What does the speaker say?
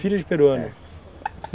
Filho de peruano.